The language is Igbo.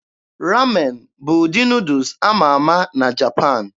Ramen bụ ụdị Nuudus ama ama na Japan